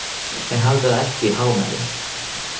En hafðu það ekki í hámælum.